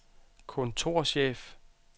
kontorchef